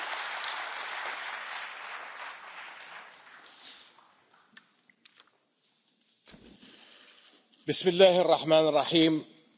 Mr President, honourable Members, Your Excellencies, my friends, thank you all.